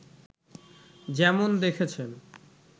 যেমন দেখেছেন